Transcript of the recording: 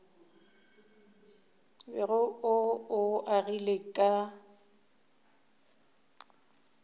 bego o o agile ka